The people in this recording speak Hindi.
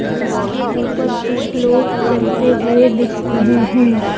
जिसके ऊपर कुछ लोग चलते हुए दिख रहें हैं।